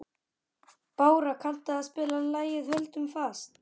Bára, kanntu að spila lagið „Höldum fast“?